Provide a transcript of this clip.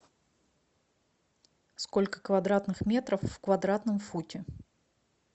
сколько квадратных метров в квадратном футе